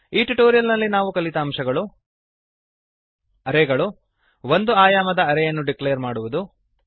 ಈ ಟ್ಯುಟೋರಿಯಲ್ ನಲ್ಲಿ ನಾವು ಕಲಿತ ಅಂಶಗಳು160 ಅರೇ ಗಳು ಒಂದು ಆಯಾಮದ ಅರೇ ಯನ್ನು ಡಿಕ್ಲೇರ್ ಮಾಡುವುದು